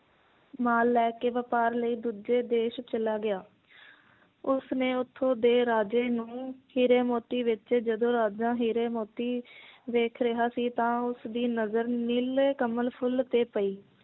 ਮਾਲ ਲੈ ਕੇ ਵਪਾਰ ਲਈ ਦੂੱਜੇ ਦੇਸ਼ ਚਲਾ ਗਿਆ ਉਸਨੇ ਉੱਥੋਂ ਦੇ ਰਾਜੇ ਨੂੰ ਹੀਰੇ ਮੋਤੀ ਵੇਚੇ ਜਦੋਂ ਰਾਜਾ ਹੀਰੇ ਮੋਤੀ ਵੇਖ ਰਿਹਾ ਸੀ ਤਾਂ ਉਸ ਦੀ ਨਜ਼ਰ ਨੀਲੇ ਕਮਲ ਫੁਲ ਤੇ ਪਈ